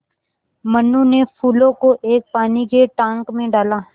मनु ने फूलों को एक पानी के टांक मे डाला